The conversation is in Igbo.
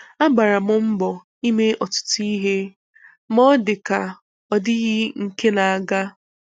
Agbara m mbọ ime ọtụtụ ihe ma ọ dịka a ọ dịghị nke n'aga.